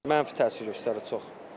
Mənfi təsir göstərir çox.